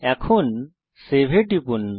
এখন সেভ এ টিপুন